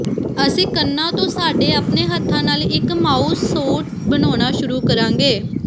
ਅਸੀਂ ਕੰਨਾਂ ਤੋਂ ਸਾਡੇ ਆਪਣੇ ਹੱਥਾਂ ਨਾਲ ਇਕ ਮਾਊਸ ਸੂਟ ਬਣਾਉਣਾ ਸ਼ੁਰੂ ਕਰਾਂਗੇ